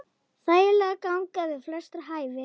Þægileg ganga við flestra hæfi.